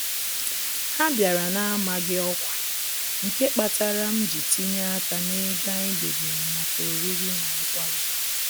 Ha bịara na-amaghị ọkwa, nke kpatara m ji tinye aka n'ego anyị debere maka oriri na nkwari